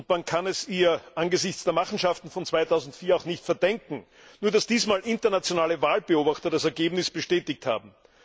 Man kann es ihr angesichts der Machenschaften von 2004 auch nicht verdenken, nur dass dieses Mal internationale Wahlbeobachter das Ergebnis bestätigt haben.